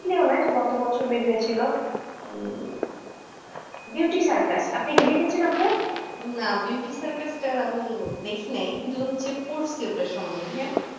হ্যাঁ ওইটা গত বছর বেরিয়ে ছিল, beauty circus আপনি কি দেখেছেন আপু? না beauty circus টা আমি দেখি নাই কিন্তু পড়ছি ওটার সম্বন্ধে